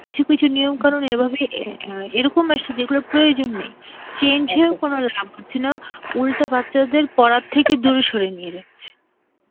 কিছু কিছু নিয়ম কানুন এভাবে~ এ অ্যাঁ এরকম আসে যার প্রয়োজন নেই, change হয়েও কোন লাভ হচ্ছে না, উল্টে বাচ্চাদের পড়ার থেকে দূরে সরিয়ে নিয়ে যাচ্ছে.